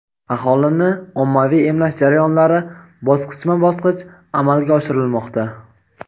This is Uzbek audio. Aholini ommaviy emlash jarayonlari bosqichma-bosqich amalga oshirilmoqda.